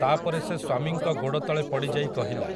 ତା'ପରେ ସେ ସ୍ୱାମୀଙ୍କ ଗୋଡ଼ତଳେ ପଡ଼ିଯାଇ କହିଲା,